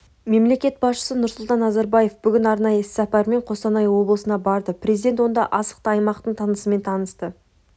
мемлекет басшысы нұрсұлтан назарбаев бүгін арнайы іссапармен қостанай облысына барды президент онда астықты аймақтың тынысымен танысты